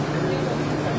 Beş min iki yüz.